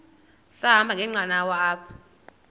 sahamba ngenqanawa apha